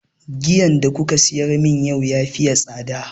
Giyan da kuka siyar mun yau ya faye tsada